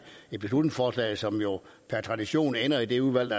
et beslutningsforslag som jo per tradition ender i det udvalg